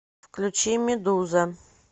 включи медуза